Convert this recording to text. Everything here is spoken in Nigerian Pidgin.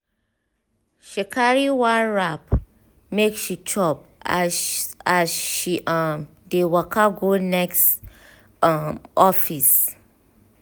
she carry one wrap make she chop as as she um dey waka go next um office.